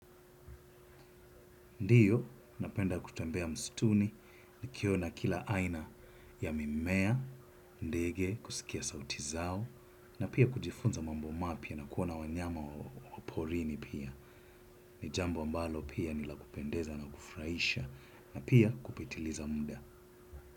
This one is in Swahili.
Ndiyo, napenda kutembea mstuni, nikiona kila aina ya mimea, ndege, kusikia sauti zao, na pia kujifunza mambo mapya na kuona wanyama wa porini pia. Nijambo ambalo pia nilakupendeza na kufurahisha, na pia kupitiliza muda.